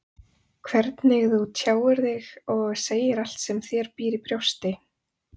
Hvernig þú tjáir þig og segir allt sem þér býr í brjósti.